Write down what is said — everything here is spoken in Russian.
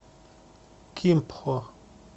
кимпхо